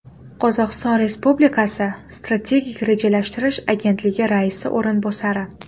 Qozog‘iston Respublikasi Strategik rejalashtirish agentligi raisi o‘rinbosari.